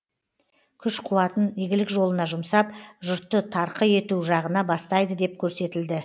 күш қуатын игілік жолына жұмсап жұртты тарқы ету жағына бастайды деп көрсетілді